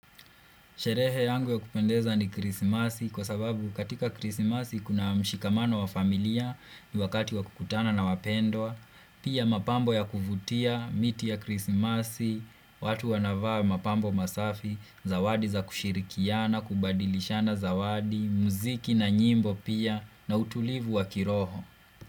Sherehe yangu ya kupendeza ni krisimasi kwa sababu katika krisimasi kuna mshikamano wa familia ni wakati wa kukutana na wapendwa, pia mapambo ya kuvutia, miti ya krisimasi, watu wanavaa mapambo masafi, zawadi za kushirikiana, kubadilishana zawadi, muziki na nyimbo pia na utulivu wa kiroho.